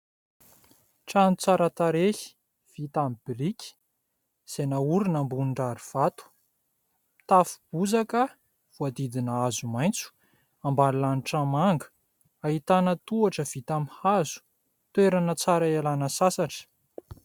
Trano tsara tarehy vita amin'ny biriky izay naorina ambony rary vato, tafo bozaka voadidina hazo maitso, ambany lanitra manga, ahitana tohatra vita amin'ny hazo. Toerana tsara hialana sasatra.